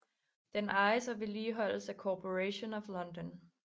Den ejes og vedligeholdes af Corporation of London